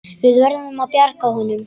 Við verðum að bjarga honum.